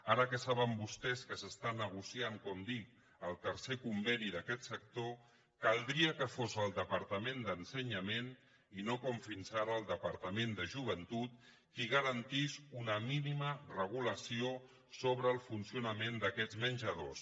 ara que saben vostès que s’està negociant com dic el tercer conveni d’aquest sector caldria que fos el departament d’ensenyament i no com fins ara el departament de joventut qui garantís una mínima regulació sobre el funcionament d’aquests menjadors